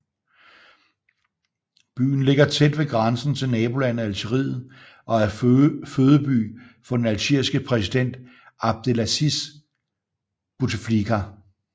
Byen ligger tæt ved grænsen til nabolandet Algeriet og er fødeby for den algeriske præsident Abdelaziz Bouteflika